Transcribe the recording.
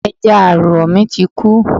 Ẹja àrọ̀ mi ti kú